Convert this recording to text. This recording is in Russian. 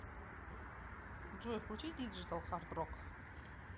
джой включи диджитал хардрок